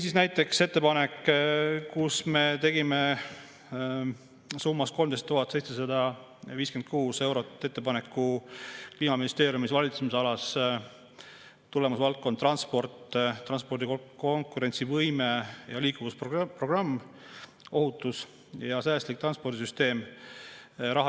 Või näiteks tegime ettepaneku 13 756 euro eraldamiseks Kliimaministeeriumi valitsemisala tulemusvaldkonna "Transport" "Transpordi konkurentsivõime ja liikuvuse programm" "Ohutu ja säästlik transpordisüsteem".